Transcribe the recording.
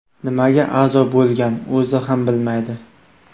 Nimaga a’zo bo‘lgan, o‘zi ham bilmaydi.